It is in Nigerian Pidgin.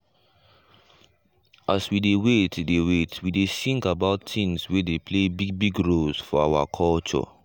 as we dey wait dey wait we dey sing about things wey dey play big big role for our culture.